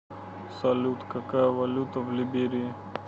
салют какая валюта в либерии